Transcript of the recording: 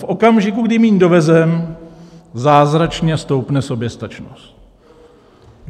V okamžiku, kdy míň dovezeme, zázračně stoupne soběstačnost.